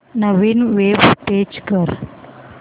नवीन web page open कर